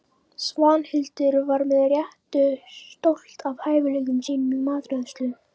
Svanhildur var með réttu stolt af hæfileikum sínum í matreiðslu.